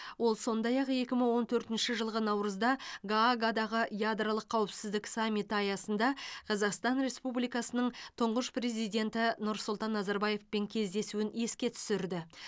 ол сондай ақ екі мың он төртінші жылғы наурызда гаагадағы ядролық қауіпсіздік саммиті аясында қазақстан республикасының тұңғыш президенті нұрсұлтан назарбаевпен кездесуін еске түсірді